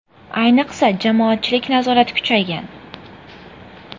Ayniqsa, jamoatchilik nazorati kuchaygan.